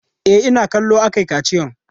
E, ina kallo aka yi kaciyan.